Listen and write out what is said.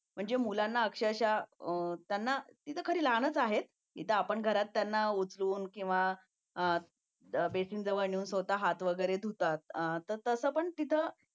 जे मुलांना अक्षरशः त्यांना तिथं लहानच आहेत इथं आपण घरात त्यांना उचलून किंवा बेसिन जवळ नेऊन स्वतः हात वगैरे धुतो